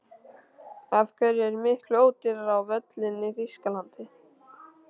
Af hverju er miklu ódýrara á völlinn í Þýskalandi?